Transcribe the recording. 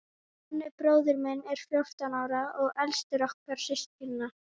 Nonni bróðir minn er fjórtán ára og elstur okkar systkinanna.